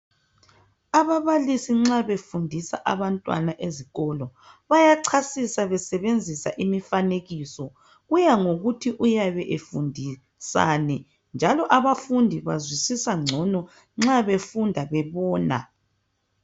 Ababalisi nxa befundisa abantwana ezikolo bayachasisa besebenzisa imifanekiso . Kuya ngokuthi uyabe efundisani njalo abafundi bazwisisa ngcono nxa befunda bebona.